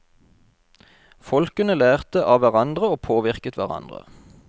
Folkene lærte avhverandre og påvirket hverandre.